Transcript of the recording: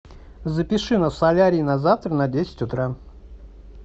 запиши нас в солярий на завтра на десять утра